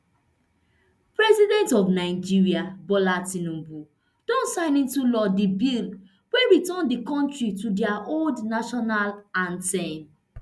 president of nigeria bola tinubu don sign into law di bill wey return di kontri to dia old national anthem